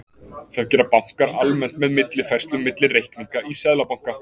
Það gera bankar almennt með millifærslum milli reikninga í seðlabanka.